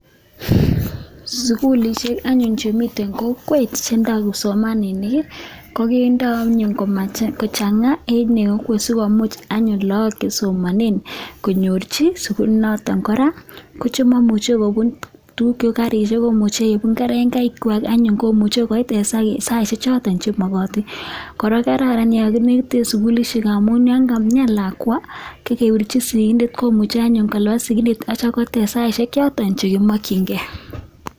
Sugulisiek anyun chemiten kokwet, chebo kipsomaninik kokindo anyun komach kochang'a sikomuch anyun laak chesomanen konyorchike sugulit noton kora ko chemaimuche kobun tuguk choto cheuu karisiek ko kerengaisiek kwak. En saisiek choto kora kokraran yaan kamiani lakwa kokebirchi sikindet komuche kolabat sikindet aitya koit en saisiek choton cheki makienge